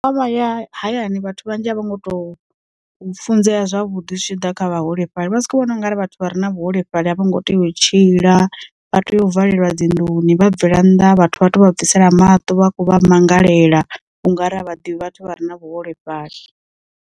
Ya hayani vhathu vhanzhi a vhongo to funzea zwavhuḓi zwi tshi ḓa kha vhaholefhali, vha si kho vhona ungari vhathu vha re na vhuholefhali a vho ngo tea u tshila, vha tea u valelwa dzinḓuni vha bvela nnḓa vhathu vha to bvisela maṱo vha khou vha mangalela ungari a vha ḓivhi vhathu vha re na vhuholefhali.